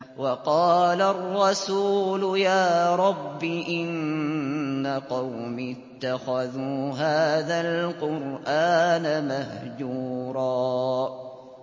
وَقَالَ الرَّسُولُ يَا رَبِّ إِنَّ قَوْمِي اتَّخَذُوا هَٰذَا الْقُرْآنَ مَهْجُورًا